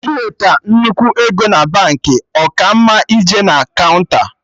Iweta nnukwu ego na Baankị, ọ ka mma ije na kaụnta